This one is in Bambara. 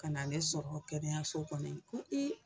Kana ne sɔrɔ kɛnɛyaso kɔnɔ ye ko ee